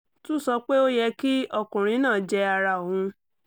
tún sọ pé ó yẹ kí ọkùnrin náà jẹ́ ara òun